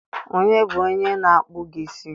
Onye bụ onye na-akpụ gị isi?